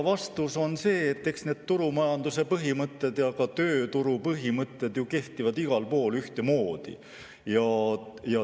Vastus on see, et eks need turumajanduse põhimõtted ja ka tööturupõhimõtted kehtivad ju igal pool ühtemoodi.